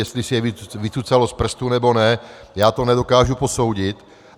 Jestli si je vycucalo z prstu, nebo ne, já to nedokážu posoudit.